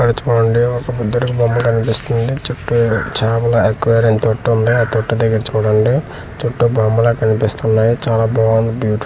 అటు చూడండి ఒక బుద్ధుడి బొమ్మ కనిపిస్తుంది చుట్టూ చాపల అక్వేరియం తోటి ఉంది ఆ తోటి దెగ్గర చూడండి చుట్టూ బొమ్మలే కనిపిస్తున్నాయి చాలా బాగుంది బ్యూటిఫుల్ గా .